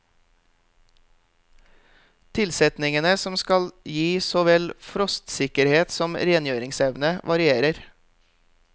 Tilsetningene som skal gi så vel frostsikkerhet som rengjøringsevne, varierer.